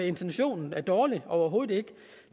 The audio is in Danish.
intentionen dårlig overhovedet